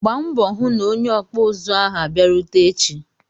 Gbaa mbọ hụ na onye okpu uzu ahu abịarute echi!